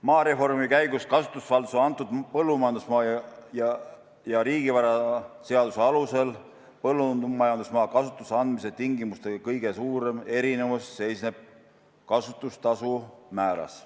Maareformi käigus kasutusvaldusse antud põllumajandusmaa ja riigivaraseaduse alusel põllumajandusmaa kasutusse andmise tingimuste kõige suurem erinevus seisneb kasutustasu määras.